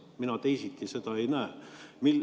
Mina teisiti seda ei näe.